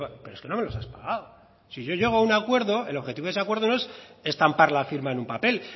pero es que no nos los has pagado si yo llego a un acuerdo el objetivo de ese acuerdo no es estampar la firma en un papel